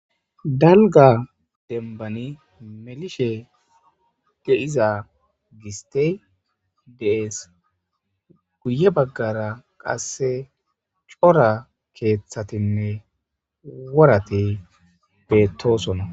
Daligga denibbann melishshe de'iza gositeyi de'ees.guye bagara qase cora keththatinne woratti betosonna.